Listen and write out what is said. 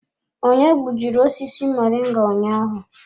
Onye gbujiri osisi moringa ụnyaahụ?